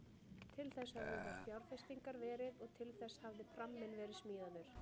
Til þess höfðu þær fjárfestingar verið og til þess hafði pramminn verið smíðaður.